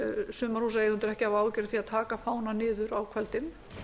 sumarhúsaeigendur ekki að hafa áhyggjur af því að taka fánann niður á kvöldin